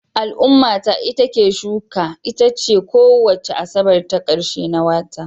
Al'ummata itace shuka itace kowace Asabar ta ƙarshe na wata